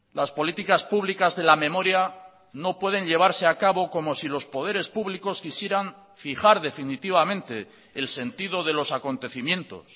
las políticas públicas de la memoria no pueden llevarse a cabo como si los poderes públicos quisieran fijar definitivamente el sentido de los acontecimientos